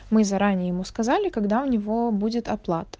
мы заранее ему сказали когда у него будет оплата